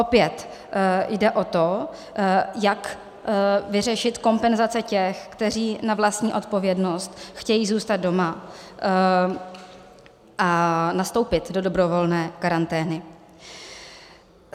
Opět jde o to, jak vyřešit kompenzace těch, kteří na vlastní odpovědnost chtějí zůstat doma a nastoupit do dobrovolné karantény.